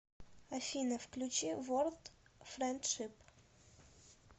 афина включи ворлд френдшип